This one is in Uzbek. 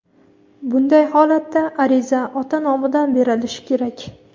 Bunday holatda ariza ota nomidan berilishi kerak.